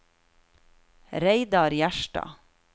Reidar Gjerstad